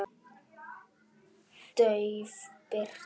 Dauf birta.